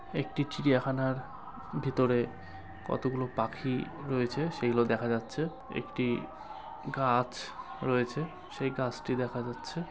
একটি চিড়িয়াখানার ভেতরে কতগুলো পাখি রয়েছে সেগুলো দেখা যাচ্ছে | একটি গাছ রয়েছে সেই গাছটি দেখা যাচ্ছে।